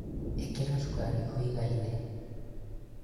ĩkĩra cukarĩ ũigaine